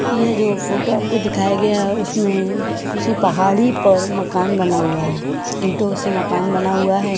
यह जो फोटो आपको दिखाया गया उसमें किसी पहाड़ी पर मकान बना हुआ है इटो से मकान बना हुआ है।